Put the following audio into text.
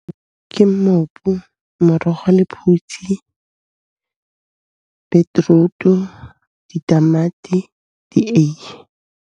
Ke mmopo, morogo wa lephutsi, beetroot-u, ditamati, dieiye.